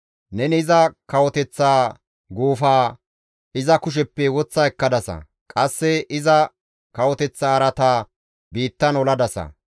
Neni iza kawoteththa guufaa iza kusheppe woththa ekkadasa; qasse iza kawoteththa araataa biittan oladasa.